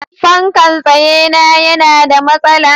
fankan tsaye na yana da masala